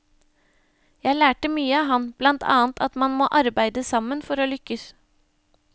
Jeg lærte mye av ham, blant annet at man må arbeide sammen for å lykkes.